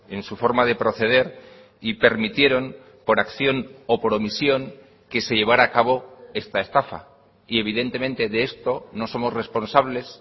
en su forma de proceder y permitieron por acción o por omisión que se llevará a cabo esta estafa y evidentemente de esto no somos responsables